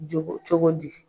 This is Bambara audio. Cogo cogo di?